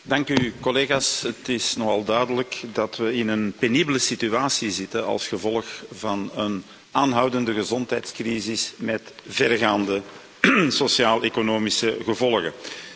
Voorzitter, collega's, het is nogal duidelijk dat we in een penibele situatie zitten als gevolg van een aanhoudende gezondheidscrisis met verregaande sociaal economische gevolgen.